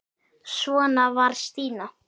Svona var Stína.